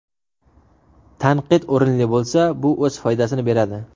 Tanqid o‘rinli bo‘lsa, bu o‘z foydasini beradi.